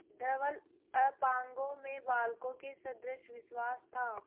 धवल अपांगों में बालकों के सदृश विश्वास था